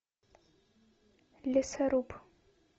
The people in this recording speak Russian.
лесоруб